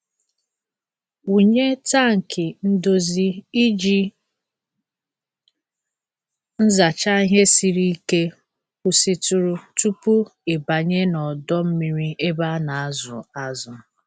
Wụnye tankị ndozi iji nzacha ihe siri ike kwụsịtụrụ tupu ị banye n'ọdọ mmiri ebe a na-azụ azụ.